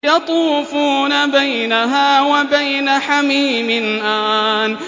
يَطُوفُونَ بَيْنَهَا وَبَيْنَ حَمِيمٍ آنٍ